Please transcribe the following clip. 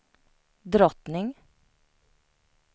drottning